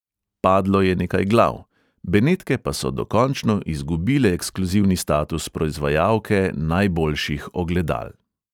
Padlo je nekaj glav, benetke pa so dokončno izgubile ekskluzivni status proizvajalke najboljših ogledal.